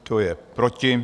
Kdo je proti?